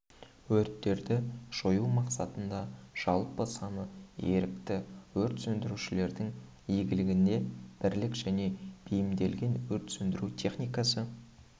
өрттерді жою мақсатында жалпы саны ерікті өрт сөндірушілердің иелігінде бірлік және бейімделген өрт сөндіру техникасы